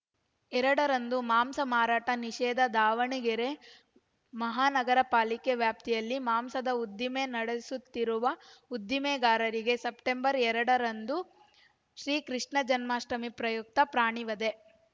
ಎರಡು ರಂದು ಮಾಂಸ ಮಾರಾಟ ನಿಷೇಧ ದಾವಣಗೆರೆ ಮಹಾನಗರ ಪಾಲಿಕೆ ವ್ಯಾಪ್ತಿಯಲ್ಲಿ ಮಾಂಸದ ಉದ್ದಿಮೆ ನಡೆಸುತ್ತಿರುವ ಉದ್ದಿಮೆದಾರರಿಗೆ ಸೆಪ್ಟೆಂಬರ್ ಎರಡ ರಂದು ಶ್ರೀಕೃಷ್ಣ ಜನ್ಮಾಷ್ಠಮಿ ಪ್ರಯುಕ್ತ ಪ್ರಾಣಿ ವಧೆ